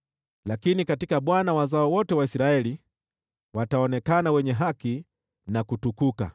Lakini katika Bwana wazao wote wa Israeli wataonekana wenye haki na watashangilia.